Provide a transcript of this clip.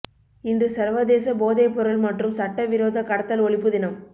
இன்று சர்வதேச போதை பொருள் மற்றும் சட்ட விரோத கடத்தல் ஒழிப்பு தினம்